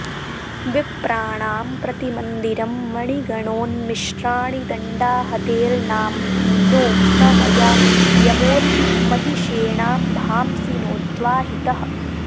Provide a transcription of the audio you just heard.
विप्राणां प्रतिमन्दिरं मणिगणोन्मिश्राणि दण्डाहतेर्नांब्धीनो स मया यमोऽर्पि महिषेणाम्भांसि नोद्वाहितः